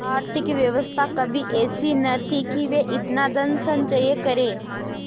आर्थिक व्यवस्था कभी ऐसी न थी कि वे इतना धनसंचय करते